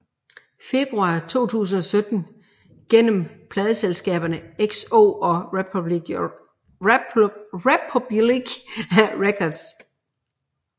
Februar 2017 gennem pladeselskaberne XO og Republic Records